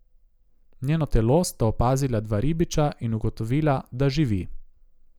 Njeno telo sta opazila dva ribiča in ugotovila, da živi.